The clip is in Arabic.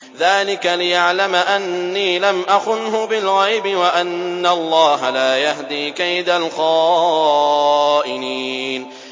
ذَٰلِكَ لِيَعْلَمَ أَنِّي لَمْ أَخُنْهُ بِالْغَيْبِ وَأَنَّ اللَّهَ لَا يَهْدِي كَيْدَ الْخَائِنِينَ